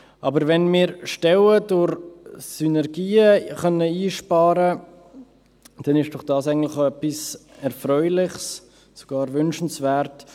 Aber wenn wir Stellen durch Synergien einsparen können, dann ist das doch eigentlich auch etwas Erfreuliches und sogar wünschenswert.